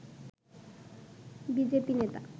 BJP নেতা